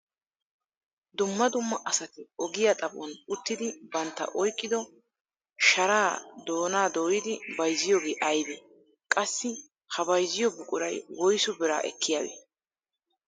Dumma dumma asati ogiyaa xaphon uttidi bantta oyqqido sharaa doonaa dooyidi bayzziyoogee aybee? qassi ha bayzziyoo buquray woysu biraa ekkiyaabee?